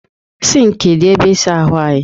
Sịnkị dị ebe ịsa ahụ anyị.